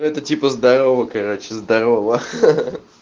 это типа здорово короче здорово хи-хи